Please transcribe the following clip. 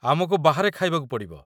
ଆମକୁ ବାହାରେ ଖାଇବାକୁ ପଡ଼ିବ।